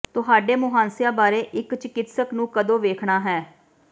ਤੁਹਾਡੇ ਮੁਹਾਂਸਿਆਂ ਬਾਰੇ ਇੱਕ ਚਿਕਿਤਸਕ ਨੂੰ ਕਦੋਂ ਵੇਖਣਾ ਹੈ